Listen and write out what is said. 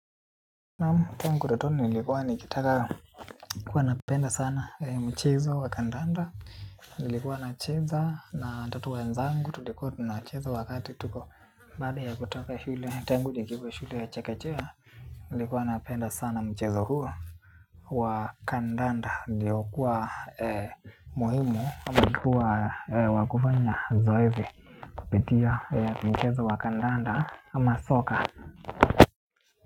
Naam tangu utotoni nilikuwa nikitaka huwa napenda sana mchezo wa kandanda. Nilikuwa nacheza na hata wenzangu. Tulikuwa tunacheza wakati tuko baada ya kutoka shule. Tangu nikiwa shule ya chakechea nilikuwa napenda sana mchezo huu wa kandanda uliokuwa muhimu kwa kuwa wakufanya zoezi kupitia mchezo wa kandanda ama soka.